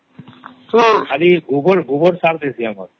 ଆରେ ଏ ଗୋବର ସାର ଦେଇ ଦିଅ ସବୁ